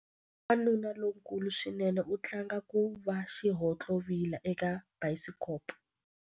Wanuna lonkulu swinene u tlanga ku va xihontlovila eka bayisikopo.